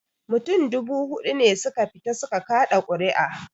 Mutum dubu huɗu ne su ka fita su ka kaɗa ƙuri'a